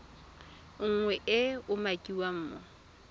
nngwe e e umakiwang mo